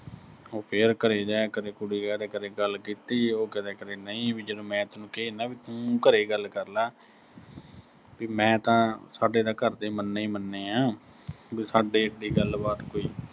ਉਹ ਕਿਹਾ ਕਰੇ ਜਾਂ ਆਏਂ ਕਦੇ ਕੁੜੀ ਕਹਿ ਦਿਆ ਕਰੇ, ਗੱਲ ਕੀਤੀ, ਉਹ ਕਹਿ ਦਿਆ ਕਰੇ ਨਈਂ, ਵੀ ਜਦੋਂ ਮੈਂ ਤੈਨੂੰ ਕਹੀ ਜਾਨਾ ਵੀ ਤੂੰ ਘਰੇ ਗੱਲ ਕਰਲਾ, ਵੀ ਮੈਂ ਤਾਂ, ਸਾਡੇ ਤਾਂ ਘਰ ਦੇ ਮੰਨੇ ਈ ਮੰਨੇ ਆ ਅਹ ਵੀ ਸਾਡੇ ਐਡੀ ਗੱਲਬਾਤ ਕੋਈ